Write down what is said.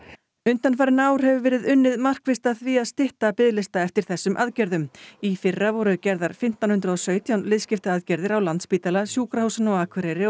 undanfarin ár hefur verið unnið markvisst að því að stytta biðlista eftir þessum aðgerðum í fyrra voru gerðar fimmtán hundruð og sautján liðskiptaaðgerðir á Landspítala Sjúkrahúsinu á Akureyri